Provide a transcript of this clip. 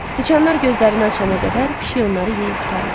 Siçanlar gözlərini açana qədər pişik onları yeyib qurtarırdı.